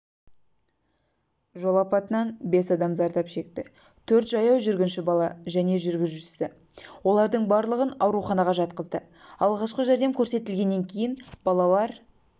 жол апатынан бес адам зардап шекті төрт жаяу жүргінші бала және жүргізушісі олардың барлығын ауруханаға жатқызды алғашқы жәрдем көрсетілгеннен кейін балалар